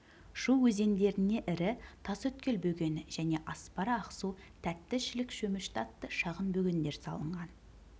шу өзендеріне ірі тасөткөл бөгені және аспара ақсу тәтті шілік шөмішті атты шағын бөгендер салынған